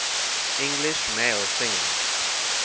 english male singers